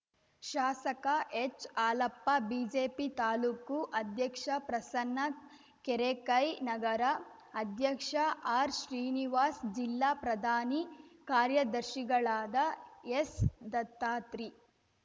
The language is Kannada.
ಶಾಸಕ ಹೆಚ್‌ಹಾಲಪ್ಪ ಬಿಜೆಪಿ ತಾಲೂಕು ಅಧ್ಯಕ್ಷ ಪ್ರಸನ್ನ ಕೆರೆಕೈ ನಗರ ಅಧ್ಯಕ್ಷ ಆರ್‌ಶ್ರೀನಿವಾಸ್‌ ಜಿಲ್ಲಾ ಪ್ರಧಾನಿ ಕಾರ್ಯದರ್ಶಿಗಳಾದ ಎಸ್‌ದತ್ತಾತ್ರಿ